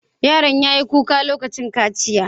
Yaron ya yi kuka lokacin kaciya?